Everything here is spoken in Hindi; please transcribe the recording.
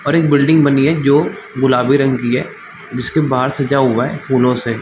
और एक बिल्डिंग बनी हैं जो गुलाबी रंग की हैं जिसके बाहर सज़ा हुआ हैं फूलो से --